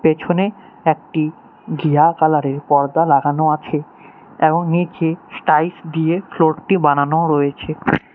পেছনে একটি ঘিয়া কালার -এর পর্দা লাগানো আছে এবং নীচে স্টাইলস দিয়ে ফ্লোর -টি বানানো রয়েছে।